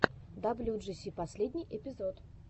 даблюджиси последний эпизод